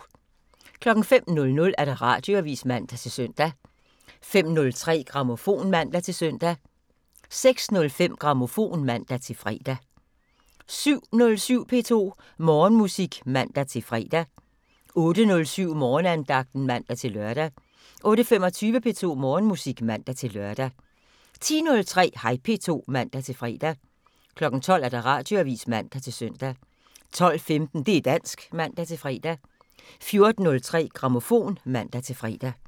05:00: Radioavisen (man-søn) 05:03: Grammofon (man-søn) 06:05: Grammofon (man-fre) 07:07: P2 Morgenmusik (man-fre) 08:07: Morgenandagten (man-lør) 08:25: P2 Morgenmusik (man-lør) 10:03: Hej P2 (man-fre) 12:00: Radioavisen (man-søn) 12:15: Det' dansk (man-fre) 14:03: Grammofon (man-fre)